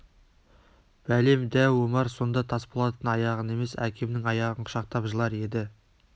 бәлем дәу омар сонда тасболаттың аяғын емес әкемнің аяғын құшақтап жылар еді